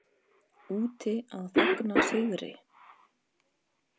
Úti að fagna sigri.